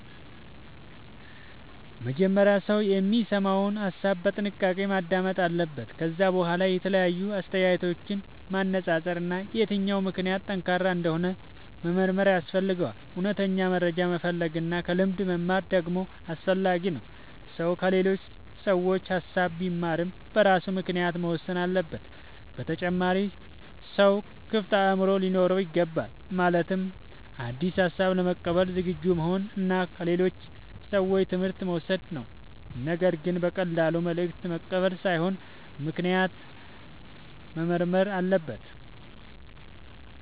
መጀመሪያ ሰው የሚሰማውን ሐሳብ በጥንቃቄ ማዳመጥ አለበት። ከዚያ በኋላ የተለያዩ አስተያየቶችን ማነጻጸር እና የትኛው ምክንያት ጠንካራ እንደሆነ መመርመር ያስፈልጋል። እውነተኛ መረጃ መፈለግ እና ከልምድ መማር ደግሞ አስፈላጊ ነው። ሰው ከሌሎች ሰዎች ሐሳብ ቢማርም በራሱ ምክንያት መወሰን አለበት። በተጨማሪም ሰው ክፍት አእምሮ ሊኖረው ይገባል። ማለትም አዲስ ሐሳብ ለመቀበል ዝግጁ መሆን እና ከሌሎች ሰዎች ትምህርት መውሰድ ነው። ነገር ግን በቀላሉ መልእክት መቀበል ሳይሆን ምክንያቱን መመርመር አለበት።